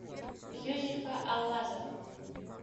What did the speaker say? юзефа аллазова